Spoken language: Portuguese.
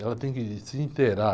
Ela tem que se interar.